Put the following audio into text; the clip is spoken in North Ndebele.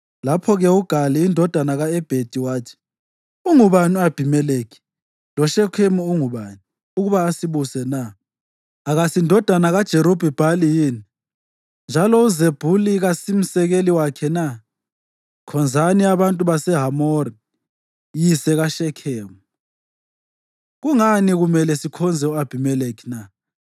Lapho-ke uGali indodana ka-Ebhedi, wathi, “Ungubani u-Abhimelekhi, loShekhemu ungubani, ukuba asibuse na? Akasindodana kaJerubhi-Bhali yini, njalo uZebhuli kasimsekeli wakhe na? Khonzani abantu baseHamori, yise kaShekhemu! Kungani kumele sikhonze u-Abhimelekhi na?